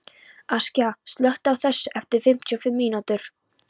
Askja, slökktu á þessu eftir fimmtíu og fimm mínútur.